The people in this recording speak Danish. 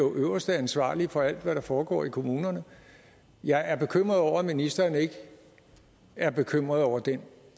øverste ansvarlige for alt hvad der foregår i kommunerne jeg er bekymret over at ministeren ikke er bekymret over den